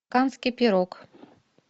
канский пирог